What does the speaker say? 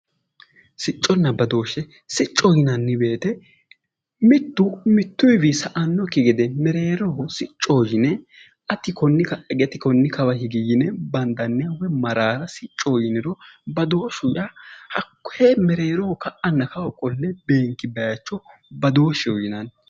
Sicconna badooshshe siccoho yinanni woyte mittu mittuyiwii sa"annokki gede mereeroho siccoho yine ati konni ka'a higi ati konni kawa higi yine bandanniha maraara siccoho yiniro badooshshu yaa hakkoye mereeroho ka'anna kawa qolle beenki baycho badooshshe yinanni